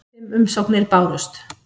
Fimm umsóknir bárust.